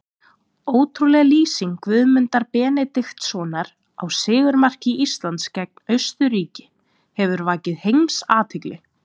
Ótrúleg lýsing Guðmundar Benediktssonar á sigurmarki Íslands gegn Austurríki hefur vakið heimsathygli.